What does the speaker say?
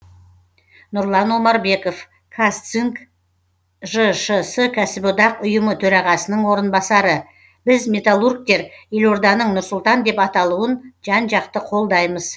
нұрлан омарбеков казцинк жшс кәсіподақ ұйымы төрағасының орынбасары біз металлургтер елорданың нұр сұлтан деп аталауын жан жақты қолдаймыз